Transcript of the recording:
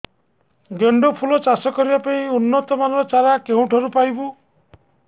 ଗେଣ୍ଡୁ ଫୁଲ ଚାଷ କରିବା ପାଇଁ ଉନ୍ନତ ମାନର ଚାରା କେଉଁଠାରୁ ପାଇବୁ